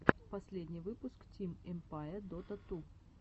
последний выпуск тим эмпае дота ту